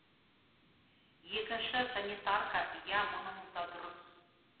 екінші санитарка иә мұныңыз да дұрыс